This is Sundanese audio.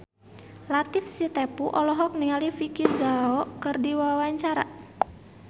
Latief Sitepu olohok ningali Vicki Zao keur diwawancara